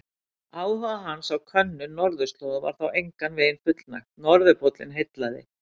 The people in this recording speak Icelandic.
Áhuga hans á könnun norðurslóða var þó engan veginn fullnægt, norðurpóllinn heillaði.